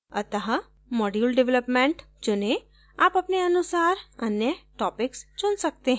अत: module development चुनें आप अपने अनुसार अन्य topics चुन सकते हैं